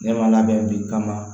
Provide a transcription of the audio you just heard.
Ne ma labɛn bi kaman